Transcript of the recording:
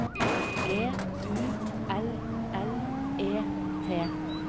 G U L L E T